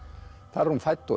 þar er hún fædd og